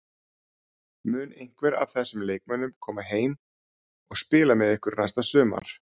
Mun einhver af þessum leikmönnum koma heim og spila með ykkur næsta sumar?